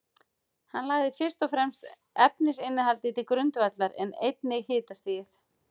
Hann lagði fyrst og fremst efnainnihaldið til grundvallar, en einnig hitastigið.